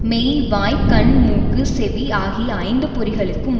மெய் வாய் கண் மூக்கு செவி ஆகிய ஐந்து பொறிகளுக்கும்